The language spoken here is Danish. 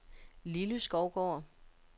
Lilly Skovgaard